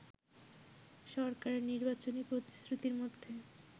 সরকারের নির্বাচনী প্রতিশ্রুতির মধ্যে